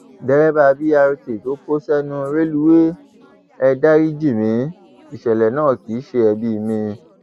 dereba bret tó kó sẹnu rélùwéè e dárí jì mí ìṣẹlẹ náà kì í ṣe ẹbí mi